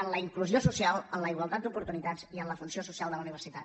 en la inclusió social en la igualtat d’oportunitats i en la funció social de la universitat